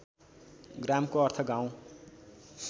ग्रामको अर्थ गाउँ